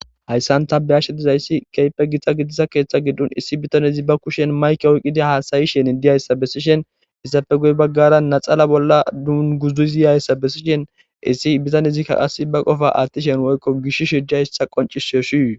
hayssanta beyashe dizayssi keype gitxa gidisa keeththa giddun issi bitano izi ba kushen mayke oyqida haasayishen diyayssa bessishen issafe guy baggara naxala bolla dunguzuziyayssa bessishen issi bizan izikka qas ba qofa aattishen woykko gish shija hissa qonci she shii